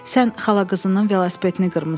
Sən xala qızının velosipedini qırmısan?